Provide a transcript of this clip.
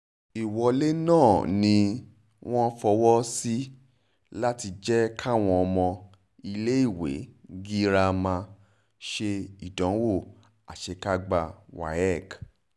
ìwọlé náà ni wọ́n fọwọ́ sí láti jẹ́ káwọn ọmọ iléèwé girama ṣe ìdánwò àṣekágbá wafc